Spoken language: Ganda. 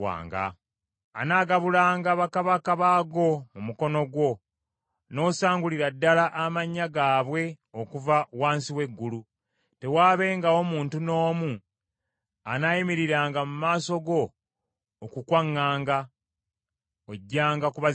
Anaagabulanga bakabaka baago mu mukono gwo n’osangulira ddala amannya gaabwe okuva wansi w’eggulu. Tewaabengawo muntu n’omu anaayimiriranga mu maaso go okukwaŋŋanga, ojjanga kubazikiriza.